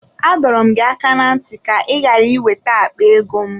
Adọrọ m gị aka na ntị ka ka ị ghara ị wete akpa ego m.